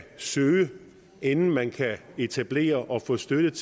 søge inden man kan etablere og få støtte